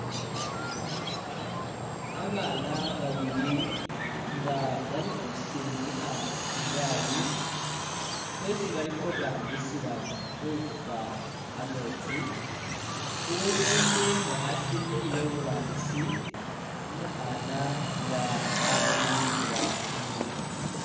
Babaana babili nga bali khusindikha igaali khwesi bali khurambisila khusuta kameetsi, uwesinde nga ali khusindikhila iburangisi, umukhana nga khasindikhila inyuma.